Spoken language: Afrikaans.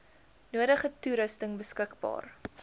nodige toerusting beskikbaar